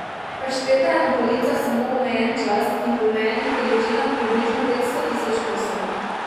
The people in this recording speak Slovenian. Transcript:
Pašteta je na policah samo omejen čas in v omejenih količinah približno petsto tisoč kosov.